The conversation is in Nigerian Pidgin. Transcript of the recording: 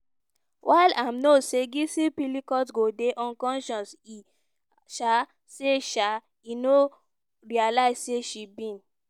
while im know say gisèle pelicot go dey unconscious e um say um e no realise say she bin